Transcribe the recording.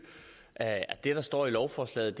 det der står i lovforslaget